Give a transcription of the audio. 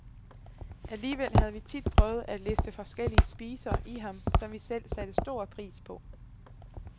Alligevel havde vi tit prøvet at liste forskellige spiser i ham, som vi selv satte stor pris på.